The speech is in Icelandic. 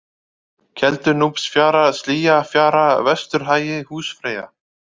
Keldunúpsfjara, Slýjafjara, Vesturhagi, Húsfreyja